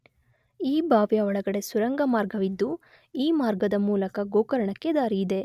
ಈ ಬಾವಿಯ ಒಳಗಡೆ ಸುರಂಗ ಮಾರ್ಗವಿದ್ದು ಈ ಮಾರ್ಗದ ಮೂಲಕ ಗೋಕರ್ಣಕ್ಕೆ ದಾರಿಯಿದೆ